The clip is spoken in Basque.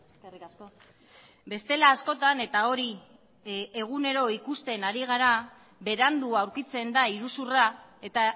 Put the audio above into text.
eskerrik asko bestela askotan eta hori egunero ikusten ari gara berandu aurkitzen da iruzurra eta